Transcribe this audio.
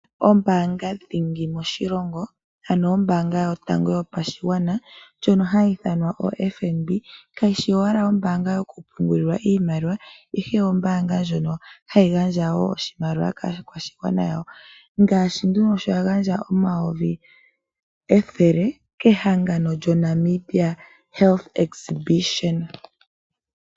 Ombaanga dhingi moshilongo ano ombaanga yotango yopashigwana ndjono hayi ithanwa oFNB kayishi owala ombaanga yokupungulwa iimaliwa ashike ombaanga ndjono hayi gandja wo oshimaliwa kaakwashigwana ngaashi sho ya gandja omayovi ethele kehangano lyoNamibia Health Exhibition.